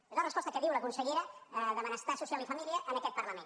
és la resposta que diu la consellera de benestar social i família en aquest parlament